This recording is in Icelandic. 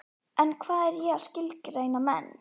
En hvað er ég að skilgreina menn?